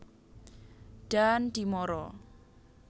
Daan Dimara